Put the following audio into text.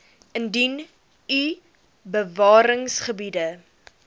indien u bewaringsgebiede